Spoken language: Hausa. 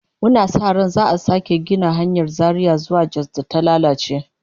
Muna sa ran za'a sake gina hanyar Zaria zuwa Jos da ta lalace